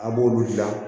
An b'olu dilan